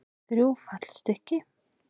Og þrjú fallstykki.